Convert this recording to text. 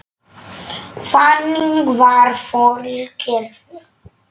Þannig var Þórir gerður.